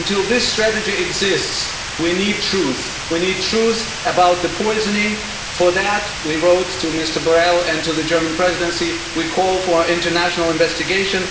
Until this strategy exists, we need truth. We need truth about the poisoning. For that, we wrote to Mr Borrell and the German Presidency and called for an international investigation.